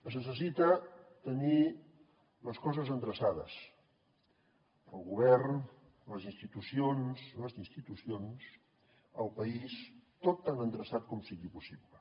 es necessita tenir les coses endreçades el govern les institucions les institucions el país tot tan endreçat com sigui possible